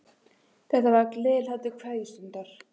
Þetta var gleðihlátur kveðjustundar.